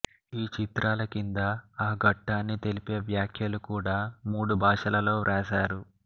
ఈ చిత్రాల కింద ఆ ఘట్టాన్ని తెలిపే వ్యాఖ్యలు కూడా మూడు భాషలలో వ్రాసారు